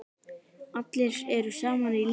Allir eru í sama liði.